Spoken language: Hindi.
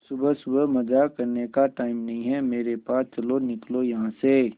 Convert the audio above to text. सुबह सुबह मजाक करने का टाइम नहीं है मेरे पास चलो निकलो यहां से